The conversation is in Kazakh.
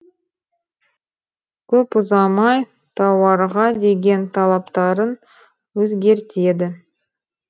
көп ұзамай тауарға деген талаптарын өзгертеді